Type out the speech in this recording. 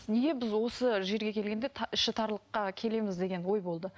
неге біз осы жерге келгенде іші тарлыққа келеміз деген ой болды